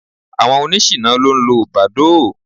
Àwọn oníṣìná ló ń lo Badoo.